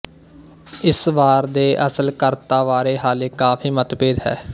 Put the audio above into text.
ਇਸ ਵਾਰ ਦੇ ਅਸਲ ਕਰਤਾ ਬਾਰੇ ਹਾਲੇ ਕਾਫ਼ੀ ਮਤਭੇਦ ਹੈ